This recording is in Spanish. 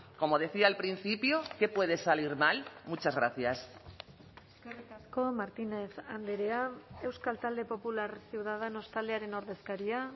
como decía al principio qué puede salir mal muchas gracias eskerrik asko martínez andrea euskal talde popular ciudadanos taldearen ordezkaria